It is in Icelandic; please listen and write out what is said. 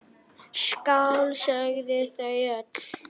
Skál, sögðu þau öll.